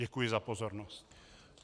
Děkuji za pozornost.